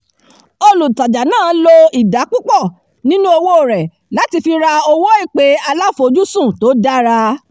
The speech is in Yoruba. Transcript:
olùtajà náà lo ìdá púpọ̀ nínú owó rẹ̀ láti fi ra owó ìpè aláfojúsùn tó dára